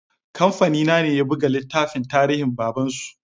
Kamfani na ne ya buga littafin tarinhin baban su